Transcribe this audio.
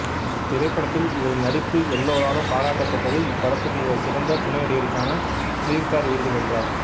இத்திரைபடத்தில் இவரின் நடிப்பு எல்லோராலும் பாராட்டப்பட்டது இப்படத்துக்கு இவர் சிறந்த துணை நடிகருக்கான பிலிம்பேர் விருது வென்றார்